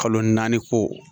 Kalo naani ko